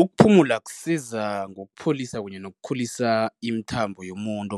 Ukuphumula kusiza ngokupholisa kunye nokukhulisa imithambo yomuntu,